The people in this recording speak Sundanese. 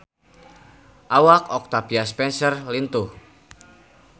Awak Octavia Spencer lintuh